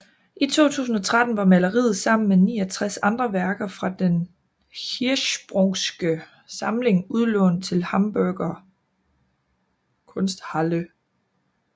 I 2013 var maleriet sammen med 69 andre værker fra Den Hirschsprungske Samling udlånt til Hamburger Kunsthalle